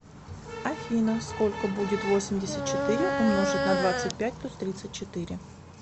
афина сколько будет восемьдесят четыре умножить на двадцать пять плюс тридцать четыре